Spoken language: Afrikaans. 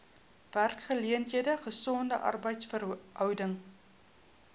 werksgeleenthede gesonde arbeidsverhoudinge